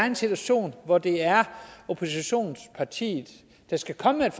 en situation hvor det er oppositionspartiet der skal komme med et